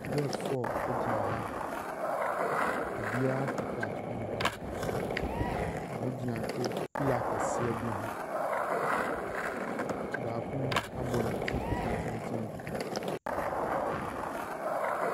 Gɛls fɔr egyina ha obiaa kita buk ɔmo gyina pila kɛseɛ be ho baako abɔ ne tii tententen .